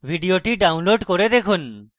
ভিডিওটি download করে দেখুন